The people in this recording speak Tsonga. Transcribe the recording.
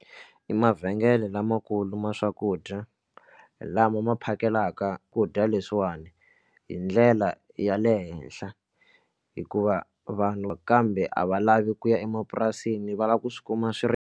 I mavhengele lamakulu ma swakudya lama ma phakelaka ku dya leswiwani hi ndlela ya le henhla hikuva vanhu na kambe a va lavi ku ya emapurasini va lava ku swi kuma swi ri.